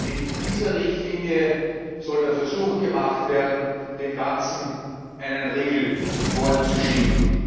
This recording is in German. Mit dieser Richtlinie soll der Versuch gemacht werden, dem Ganzen einen Riegel vorzuschieben.